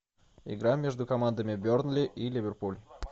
игра между командами бернли и ливерпуль